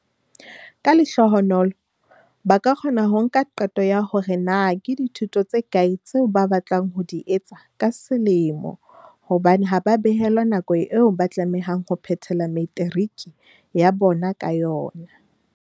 "Ka lehlohonolo, ba ka kgona ho nka qeto ya hore na ke dithuto tse kae tseo ba batlang ho di etsa ka selemo hobane ha ba behelwa nako eo ba tlamehang ho phethela materiki ya bona ka yona."